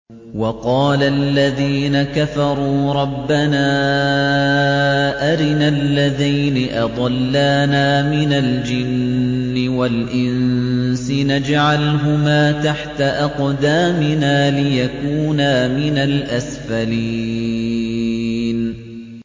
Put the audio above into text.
وَقَالَ الَّذِينَ كَفَرُوا رَبَّنَا أَرِنَا اللَّذَيْنِ أَضَلَّانَا مِنَ الْجِنِّ وَالْإِنسِ نَجْعَلْهُمَا تَحْتَ أَقْدَامِنَا لِيَكُونَا مِنَ الْأَسْفَلِينَ